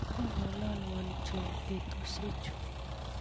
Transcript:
ngolalwa john betusiechu